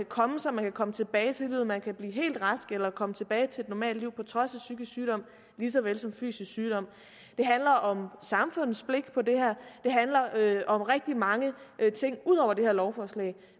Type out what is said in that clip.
komme sig man kan komme tilbage til livet man kan blive helt rask eller komme tilbage til et normalt liv på trods af psykisk sygdom lige så vel som fysisk sygdom det handler om samfundets blik på det her det handler om rigtig mange ting ud over det her lovforslag